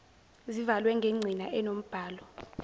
zivalwe ngengcina enombhalo